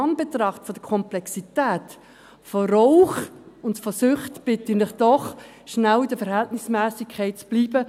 In Anbetracht der Komplexität von Rauchen und von Süchten bitte ich Sie doch, kurz bei der Verhältnismässigkeit zu bleiben.